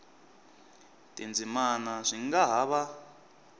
tindzimana swi nga ha va